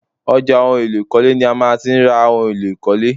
Ọjà ohun èlò ìkọ́lé ni a má ti ń ra ohun èlò ìkọ́lé